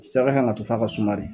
Sɛgɛ kan ka to f'a ka suma de